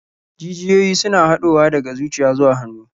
Jijiyoyi suna haɗowa daga zuciya zuwa hannu.